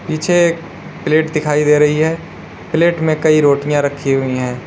पीछे एक प्लेट दिखाई दे रही है प्लेट में कई रोटियां रखी हुई है।